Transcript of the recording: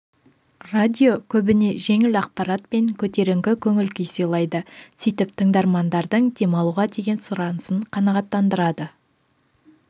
радио көбіне жеңіл ақпаратпен көтеріңкі көңіл күй сыйлайды сөйтіп тыңдармандардың демалуға деген сұранысын қанағаттандырады